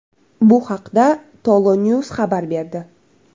Bu haqda TOLONews xabar berdi .